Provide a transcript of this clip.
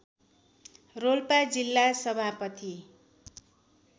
रोल्पा जिल्ला सभापति